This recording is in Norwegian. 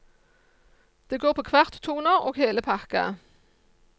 Det går på kvarttoner og hele pakka.